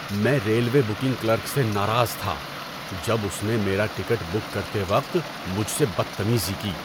میں railway booking clerk سے ناراض تھا جب اس نے میرا ٹکٹ بک کرتے وقت مجھ سے بدتمیزی کی۔